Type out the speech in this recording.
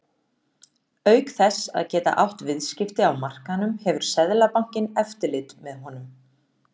Auk þess að geta átt viðskipti á markaðnum hefur Seðlabankinn eftirlit með honum.